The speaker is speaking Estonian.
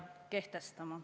Aeg, hea kolleeg!